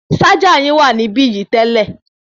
Ṣájà yín wà níbí yìí tẹ́lẹ̀.